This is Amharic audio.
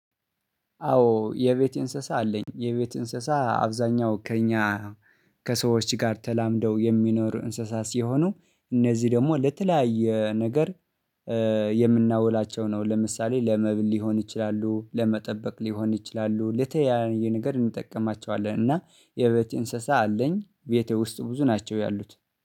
አዎ የቤት እንስሳ አለኝ። የቤት እንስሳ አብዛኛው ከእኛ ከሰዎች ጋር ተላምደው የሚኖር እንስሳስ ሲሆኑ እነዚህ ደግሞ ለተለያየ ነገር የምናውላቸው ነው። ለምሳሌ ለመብል ሊሆን ይችላሉ ለመጠበቅ ሊሆን ይችላሉ ለተለያየ ነገር እንጠቀማቸዋለን። እና የቤት እንስሳ አለኝ። ቤቴ ውስጥ ብዙ ናቸው ያሉት